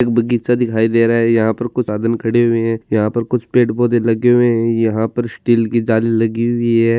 एक बगीचा दिखाई दे रहा है यहाँ पर कुछ साधन खड़े है यहाँ पर खुच पेड़-पोधे लगे हुए है यहाँ पर स्टील की जाली लगी हुई है।